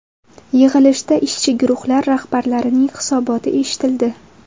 Yig‘ilishda ishchi guruhlar rahbarlarining hisoboti eshitildi.